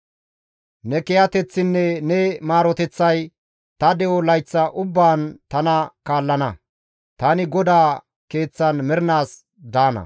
Ne kiyateththinne ne maaroteththay ta de7o layththa ubbaan tana kaallana; tani GODAA keeththan mernaas daana.